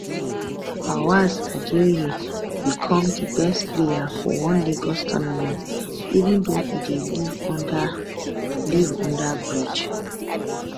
fawaz adeoye become di best player for one lagos tournament even though e dey live under live under bridge